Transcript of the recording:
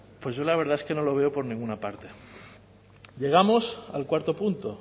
yo la verdad es que no lo veo por ninguna parte llegamos al cuarto punto